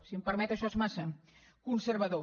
si em permet això és massa conservador